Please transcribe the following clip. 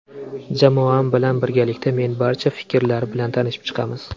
Jamoam bilan birgalikda men barcha fikrlar bilan tanishib chiqamiz.